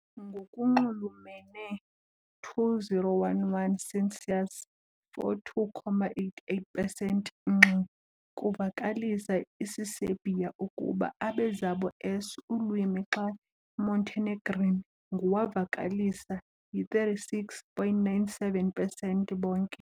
Ngokunxulumene 2011 census, 42.88 pesenti ngxi kuvakalisa isiserbia ukuba abe zabo s ulwimi, xa Montenegrin ngu wavakalisa yi-36.97 pesenti bonke.